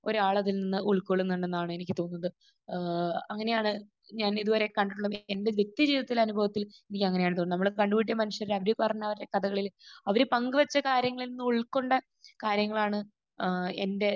ഒരാൾ അതിൽ നിന്ന് ഉൾക്കൊള്ളുന്നുണ്ടെന്നാണ് എനിക്ക് തോന്നുന്നത്. ഏഹ് അങ്ങനെയാണ് ഞാൻ ഇത് വരെ കണ്ടിട്ടുള്ള എന്റെ വ്യക്തി ജീവിതത്തിലെ അനുഭവത്തിൽ എനിക്ക് അങ്ങനെയാണ് തോന്നുന്നത്. നമ്മൾ കണ്ടുമുട്ടിയ മനുഷ്യർ അതിൽ പറഞ്ഞ കഥകളിൽ അവർ പങ്ക് വെച്ച കാര്യങ്ങളിൽ നിന്ന് ഉൾകൊണ്ട കാര്യങ്ങളാണ് ഏഹ് എന്റെ